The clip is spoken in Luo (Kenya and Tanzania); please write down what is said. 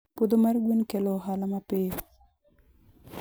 Puodho mar gwen kelo ohala mapiyo.